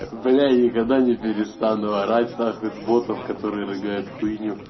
бля я никогда не перестану орать на хуй с ботов который рыгает хуйню